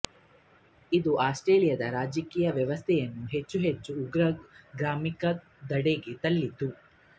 ಇದು ಆಸ್ಟ್ರಿಯಾದ ರಾಜಕೀಯ ವ್ಯವಸ್ಥೆಯನ್ನು ಹೆಚ್ಚು ಹೆಚ್ಚು ಉಗ್ರಗಾಮಿತ್ವದೆಡೆಗೆ ತಳ್ಳಿತು